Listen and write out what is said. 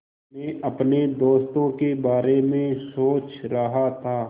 मैं अपने दोस्तों के बारे में सोच रहा था